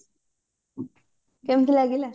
କେମତି ଲାଗିଲା